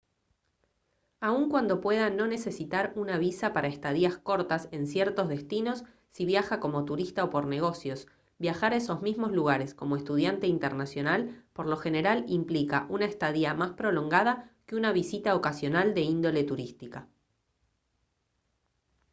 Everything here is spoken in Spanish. aun cuando pueda no necesitar una visa para estadías cortas en ciertos destinos si viaja como turista o por negocios viajar a esos mismos lugares como estudiante internacional por lo general implica una estadía más prolongada que una visita ocasional de índole turística